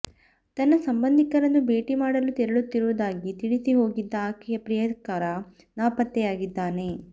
ತನ್ನ ಸಂಬಂಧಿಕರನ್ನು ಭೇಟಿ ಮಾಡಲು ತೆರಳುತ್ತಿರುವುದಾಗಿ ತಿಳಿಸಿ ಹೋಗಿದ್ದ ಆಕೆಯ ಪ್ರಿಯಕರ ನಾಪತ್ತೆಯಾಗಿದ್ದಾನೆ